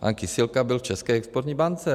Pan Kysilka byl v České exportní bance.